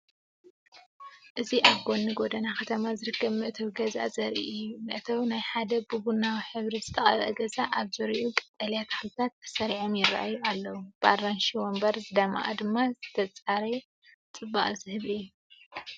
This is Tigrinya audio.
እዚ ኣብ ጎኒ ጎደና ከተማ ዝርከብ መእተዊ ገዛ ዘርኢ እዩ። መእተዊ ናይ ሓደ ብቡናዊ ሕብሪ ዝተቐብአ ገዛ፡ ኣብ ዙርያኡ ቀጠልያ ተኽልታት ተሰሪዖም ይራኣዩ ኣለው። ብኣራንሺ መንበር ዝደመቐ ድማ ዝተጸረየ ጽባቐ ዝህብ እዩ።